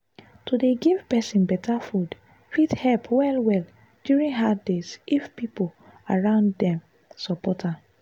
to dey give person better food fit help well-well during hard days if people around dem support am.